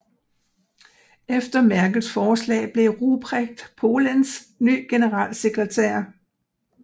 Efter Merkels forslag blev Ruprecht Polenz ny generalsekretær